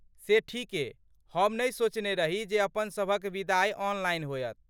से ठीके, हम नहि सोचने रही जे अपनसभक विदाइ ऑनलाइन होयत।